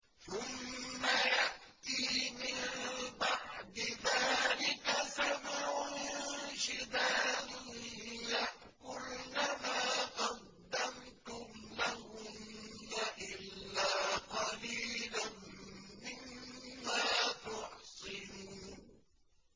ثُمَّ يَأْتِي مِن بَعْدِ ذَٰلِكَ سَبْعٌ شِدَادٌ يَأْكُلْنَ مَا قَدَّمْتُمْ لَهُنَّ إِلَّا قَلِيلًا مِّمَّا تُحْصِنُونَ